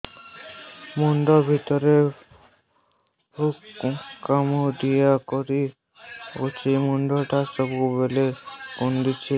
ମୁଣ୍ଡ ଭିତରେ ପୁକ କାମୁଡ଼ିଲା ପରି ଲାଗୁଛି ମୁଣ୍ଡ ଟା ସବୁବେଳେ କୁଣ୍ଡୁଚି